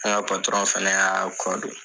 An ka patɔrɔn fɛnɛ y'a kɔ don.